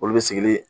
Olu bɛ sigili